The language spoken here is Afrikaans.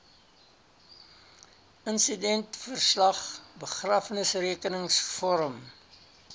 insidentverslag begrafnisrekenings vorm